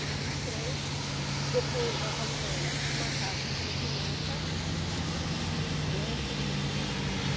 Viemos de trem, depois nós alugamos uma casa aqui no Pimenta, né, isso em sessenta e